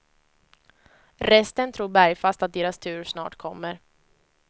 Resten tror bergfast att deras tur snart kommer.